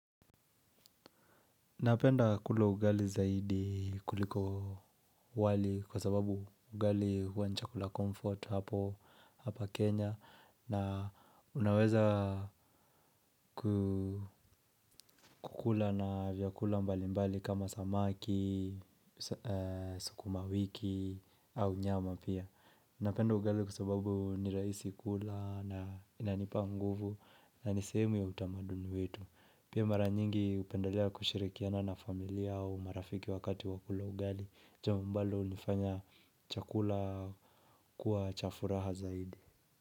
Napenda kula ugali zaidi kuliko wali kwa sababu ugali huwa ni chakula comfort hapa Kenya na unaweza kukula na vyakula mbali mbali kama samaki, sukuma wiki au nyama pia. Napenda ugali kwa sababu nirahisi kula na inanipa nguvu na nisehemu ya utamaduni wetu. Pia mara nyingi hupendalea kushirikiana na familia au marafiki wakati wakula ugali. Jambo ambalo hulifanya chakula kuwa chafuraha zaidi.